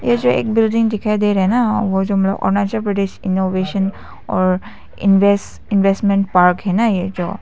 ये जो एक बिल्डिंग दिखाई दे रहा है ना अरुणाचल प्रदेश इनोवेशन और इनवेस इन्वेस्टमेंट पार्क है ना ये जो।